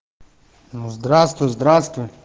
ну здравствуй здравствуй